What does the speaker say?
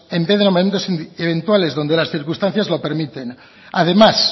en vez de nombramientos eventuales donde las circunstancias lo permiten además